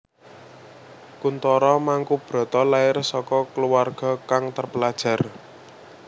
Kuntoro Mangkubroto lair saka kluwarga kang terpelajar